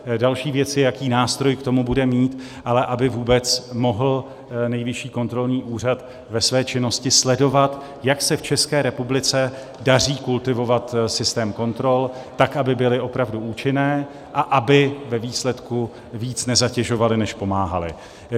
Další věcí je, jaký nástroj k tomu bude mít, ale aby vůbec mohl Nejvyšší kontrolní úřad ve své činnosti sledovat, jak se v České republice daří kultivovat systém kontrol, tak aby byly opravdu účinné a aby ve výsledku víc nezatěžovaly, než pomáhaly.